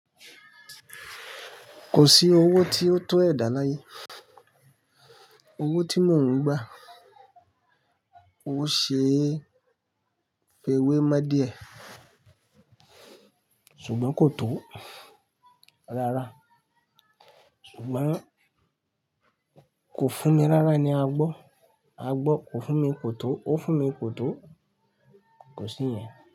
Kò sí owó tí ó tó ẹ̀dà láyé. Owó tí mò ń gbà, ó ṣe fẹ́wé mo díè, ṣùgbọ́n kò tó rárá. Ṣùgbọ́n kò fún mi rárá ni a gbọ́. A gbọ́ kò fún mi, kò tó. Ó fún mi, kò tó. Kò sí yẹn.